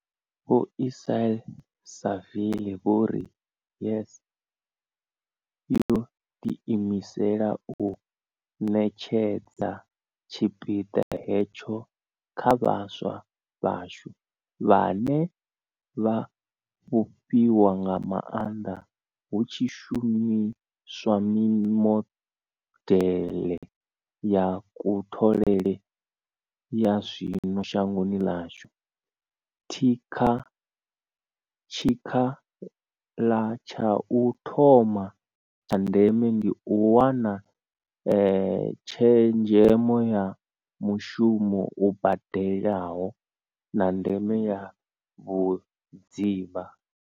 Vho Ismail-Saville vho ri, YES yo ḓiimisela u ṋetshedza tshipiḓa hetsho kha vhaswa vhashu, vhane vha a fhufhiwa nga maanḓa hu tshi shumiswa mimodeḽe ya kutholele ya zwino shangoni ḽashu, tshikhala tsha u thoma tsha ndeme ndi u wana tshezhemo ya mushumo u badelaho, na ndeme ya vhudzivha.